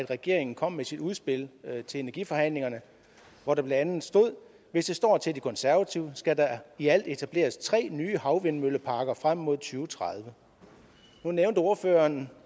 regeringen kom med sit udspil til energiforhandlingerne hvor der blandt andet stod hvis det står til de konservative skal der i alt etableres tre nye havvindmølleparker frem mod to tredive nu nævnte ordføreren